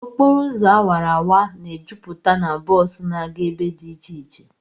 Okporo ụzọ awara awara na-ejupụta na bọs na-aga ebe dị iche iche